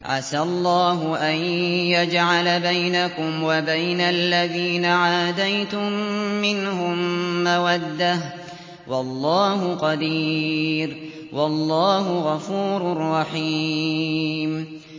۞ عَسَى اللَّهُ أَن يَجْعَلَ بَيْنَكُمْ وَبَيْنَ الَّذِينَ عَادَيْتُم مِّنْهُم مَّوَدَّةً ۚ وَاللَّهُ قَدِيرٌ ۚ وَاللَّهُ غَفُورٌ رَّحِيمٌ